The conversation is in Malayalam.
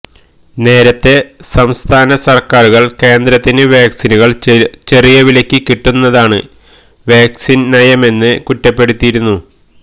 നേരത്തെ സംസ്ഥാനസര്ക്കാരുകള് കേന്ദ്രത്തിന് വാക്സിനുകള് ചെറിയ വിലയ്ക്ക് കിട്ടുന്നതാണ് വാക്സിന് നയമെന്ന് കുറ്റപ്പെടുത്തിയിരുന്നു